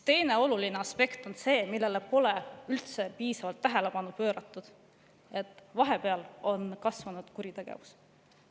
Teine oluline aspekt on see, millele pole üldse piisavalt tähelepanu pööratud: vahepeal on kasvanud kuritegevus.